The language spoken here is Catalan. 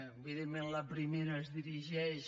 evidentment la primera es dirigeix